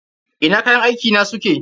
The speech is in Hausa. Ina kayan aiki na suke?